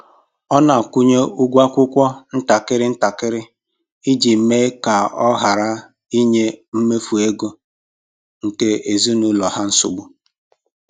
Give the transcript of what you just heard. Ọ na-akwụnye ụgwọ akwụkwọ ntakịrị ntakịrị iji mee ka ọ hara inye mmefu ego nke ezinụlọ ha nsogbu